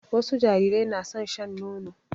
Wasu jarirai na son shan nono.